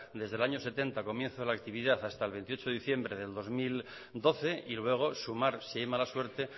desde el año setenta comienzo de la actividad hasta el veintiocho de diciembre del dos mil doce y luego sumar si hay mala suerte